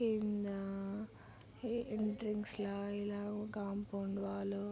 ఇందా ఈ ఎంట్రన్స్ లా ఇలా కాంపౌండ్ వాలు --